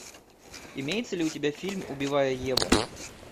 имеется ли у тебя фильм убивая еву